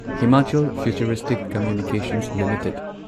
Himachal Futuristic Communications limited